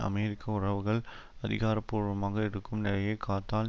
America உறவுகள் அதிகாரபூர்வமாக இருக்கும் நிலையை காத்தால்